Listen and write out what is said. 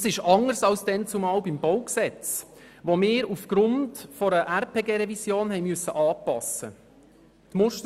Das ist anders als damals beim Baugesetz (BauG), welches wir aufgrund einer Revision des Bundesgesetzes über die Raumplanung (Raumplanungsgesetz, RPG) anpassen mussten.